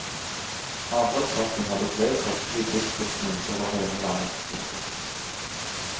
Avholdssaken hadde bred folkelig tilslutning over hele landet. punktum